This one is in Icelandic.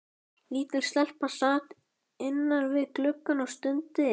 Lítil stelpa sat innan við gluggann og stundi.